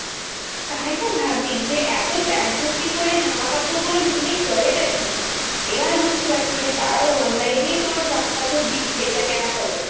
তাইতো ভাবি যে এত ব্যাগ ভর্তি করে জামাকাপড় গুলো নিয়ে করে টা কি? এবার বুঝতে পারছি যে, তারাও online এই তোর জামাকাপড় বেচাকেনা করে।